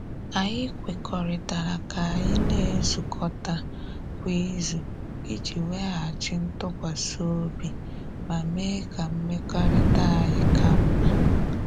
Anyị kwekuritala ka anyị na-ezukọta kwa izu iji weghachi ntụkwasị obi ma mee ka mmekọrịta anyị ka mma.